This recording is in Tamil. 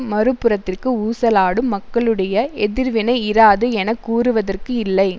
மறு புறத்திற்கு ஊசலாடும் மக்களுடைய எதிர்வினை இராது என கூறுவதற்கு இல்லை